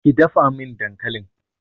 ki dafa dankalin!